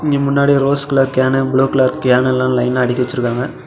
இங்க முன்னாடி rose colour can blue colour can எல்லா லைனா அடுக்கி வச்சிருக்காங்க.